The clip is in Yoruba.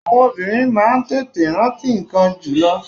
Àwọn obìnrin máa ń tètè rántí ńkan jùlō